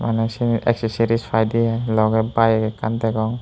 maney seyni exoseri paidey i logey bike ekkan degong.